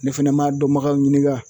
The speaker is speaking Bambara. Ne fɛnɛ m'a dɔnbagaw ɲininga